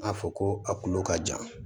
A fɔ ko a kulo ka jan